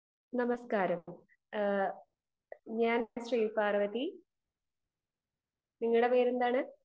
speaker 2 നമസ്കാരം ഞാൻ ശ്രീപാർവ്വതി നിങ്ങൾ പേരെന്താണ്